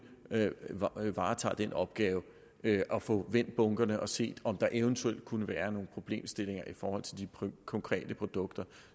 varetager den opgave at få vendt bunkerne og se om der eventuelt kunne være nogle problemstillinger i forhold til de konkrete produkter